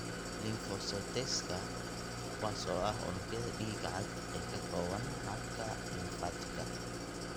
Lymphocyteska, kuwaas oo ah unugyada dhiiga cad ee ka kooban habka lymfaticka.